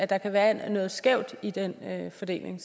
der kan være noget skævt i den fordeling